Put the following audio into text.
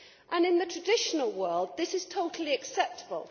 And in the traditional world this is totally acceptable.